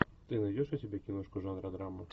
ты найдешь у себя киношку жанра драмы